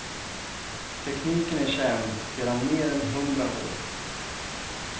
Tekniken är känd sedan mer än hundra år.